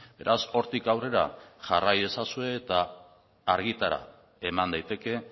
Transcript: beraz hortik aurrera jarrai ezazue eta argitara eman daiteke